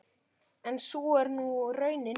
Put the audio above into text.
En sú er nú raunin.